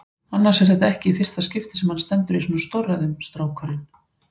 Annars er þetta ekki í fyrsta skipti sem hann stendur í svona stórræðum, strákurinn.